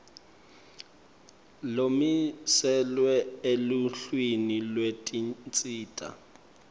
lomiselwe eluhlwini lwetinsita